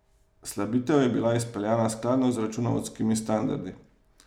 Slabitev je bila izpeljana skladno s računovodskimi standardi.